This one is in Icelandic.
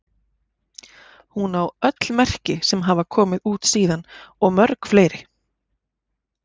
Hún á öll merki sem hafa komið út síðan og mörg fleiri.